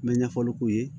N bɛ ɲɛfɔli k'u ye